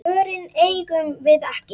Svörin eigum við ekki.